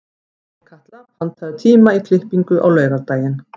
Sólkatla, pantaðu tíma í klippingu á laugardaginn.